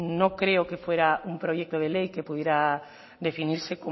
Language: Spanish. no creo que fuera un proyecto de ley que pudiera definirse